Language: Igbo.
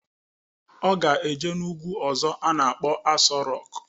Ọ ga-eje n'ugwu ọzọ a na-akpọ Aso Rọk